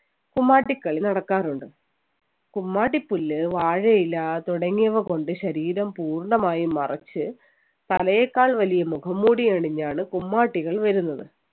കുമ്മാട്ടി കളി നടക്കാറുണ്ട് കുമ്മാട്ടി പുല്ല് വാഴയില തുടങ്ങിയവ കൊണ്ട് ശരീരം പൂർണ്ണമായും മറച്ച് തലയേക്കാൾ വലിയ മുഖംമൂടിയാണ് ഞാൻ കുമ്മാട്ടികൾ വരുന്നത്